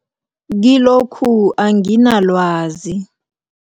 Kilokhu anginalwazi.